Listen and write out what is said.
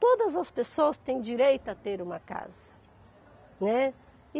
Todas as pessoas têm direito a ter uma casa, né.